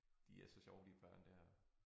De er så sjove de børn der